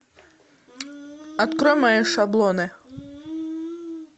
открой мои шаблоны